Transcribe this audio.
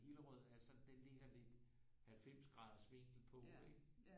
Hillerød altså den ligger lidt 90 graders vinkel på ikke